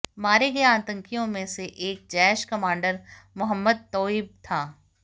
मारे गए आतंकियों में से एक जैश कमांडर मोहम्मद तोइब था